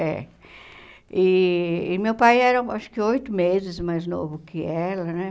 É. E e meu pai era, acho que, oito meses mais novo que ela, né?